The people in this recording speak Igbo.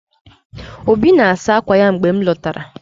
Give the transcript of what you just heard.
Obi na-asa akwa ya mgbe m lọtara.